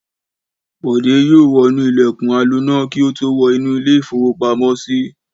Bọ̀dé yóò wọnú ilẹ̀kùn aloná kí ó tó wọ inú ilé-ìfowópamọ́sí.